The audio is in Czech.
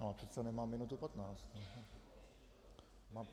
No ale teď nemám minutu patnáct...